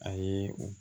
A ye o